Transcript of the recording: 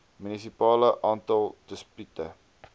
munisipale aantal dispute